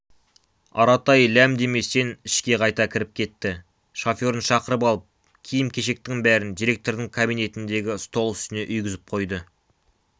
аратай ләм деместен ішке қайта кіріп кетті шоферін шақырып алып киім-кешектің бәрін директордың кабинетіндегі стол үстіне үйгізіп қойды